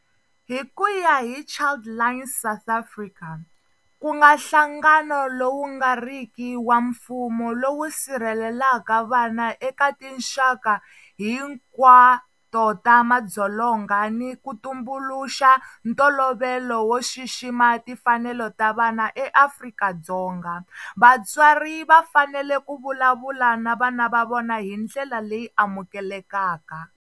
Hi ku ya hi Childline South Africa, ku nga nhlangano lowu nga riki wa mfumo lowu sirhelelaka vana eka tinxaka hinkwato ta madzolonga ni ku tumbuluxa ntolovelo wo xixima timfanelo ta vana eAfrika-Dzonga, vatswari va fanele ku vulavula na vana va vona hi ndlela leyi amukelekaka.